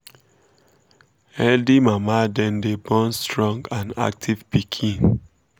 healthy mama dem day born strong and active piken um